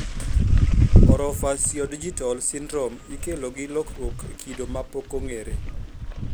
Orofaciodigital syndrome ikelo gi lokruok e kido ma pokong'ere